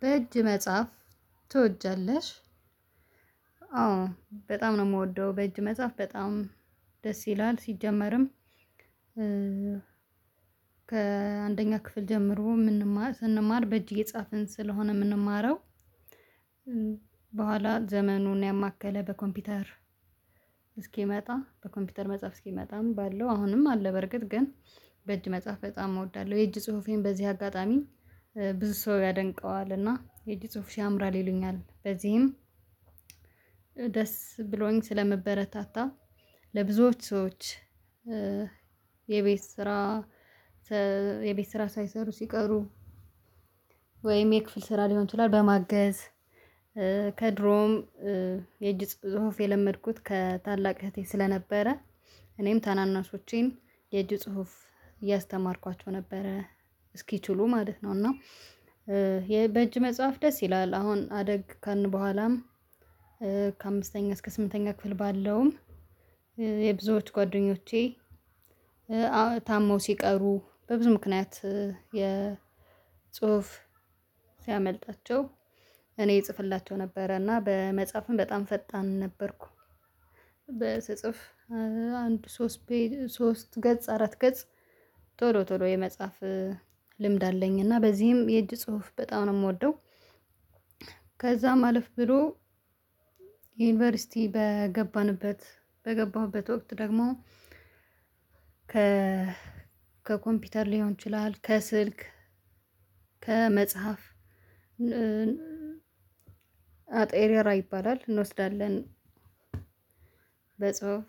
በእጅ መጽሐፍ ትወዳለሽ? አዎ በጣም ነው የምወደው በእጅ መጽሐፍ በጣም ደስ ይላል። ሲጀመርም ከአንደኛ ክፍል ጀምሮ ምንማር ስንማር በእጅህ የጻፍን ስለሆነ የምንማረው በኋላ ዘመኑን ያመከለ በኮምፒውተር እስኪመጣ በኮምፒውተር መጻፍ እስኪመጣም ባለው አሁንም አለ በእርግጥ ግን በእጅ መጽሐፍ በጣም እወዳለሁ። የእጅ ጽሁፌን በዚህ አጋጣሚ ብዙ ሰው ያደንቀዋል እና የእጅ ጽሁፍሽ ያምራል ይሉኛል። በዚህም ደስ ብሎኝ ስለመበረታታ ለብዙዎች ሰዎች የቤት ስራ ሳይሰሩ ሲቀሩ ወይም የክፍል ስራ ሊሆን ይችላል በማገዝ ከድሮም የእጅ ጽሁፍ የለመድኩት ከታላቅ እህቴ ስለነበረ እኔም ታናናሾቼን የእጅ ጽሁፍ እያስተማርኳቸው ነበረ እስኪችሉ ማለት ነው እና የበእጅ መጽሐፍ ደስ ይላል። አሁን አደግ ከልን በኋላም ከአምስተኛ እስከ ስምንተኛ ክፍል ባለውም የብዙዎች ጓደኞቼ ታመው ሲቀሩ በብዙ ምክንያት የጽሁፍ ሲያመልጣቸው እኔ ይጽፍላቸው ነበረ እና በመጽሐፍም በጣም ፈጣን ነበርኩ። በስጽፍ አንድ ሶስት ሶስት ገጽ አራት ገጽ ቶሎ ቶሎ የመጽሐፍ ልምድ አለኝ እና በዚህም የእጅ ጽሁፍ በጣም ነው የምወደው። ከዛ ማለፍ ብሎ የዩኒቨርሲቲ በገባንበት በገባሁበት ወቅት ደግሞ ከ ከኮምፒውተር ሊሆን ይችላል ከስልክ ከመጽሐፍ አጥሬራ ይባላል እንወስዳለን በጽሁፍ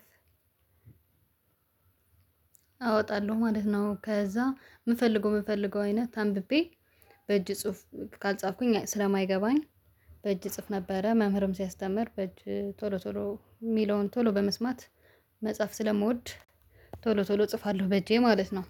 አወጣለሁ ማለት ነው። ከዛ ምፈልገው ምፈልገው አይነት አንብቤ በእጅ ጽሁፍ ካልጻፍኩኝ ስለማይገባኝ በእጅ እጽፍ ነበረ። መምህርም ሲያስተምር በእጅ ቶሎ ቶሎ የሚለውን ቶሎ በመስማት መጽሐፍ ስለምወድ ቶሎ ቶሎ እጽፋለሁ በእጄ ማለት ነው።